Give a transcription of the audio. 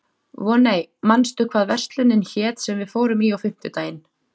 Voney, manstu hvað verslunin hét sem við fórum í á fimmtudaginn?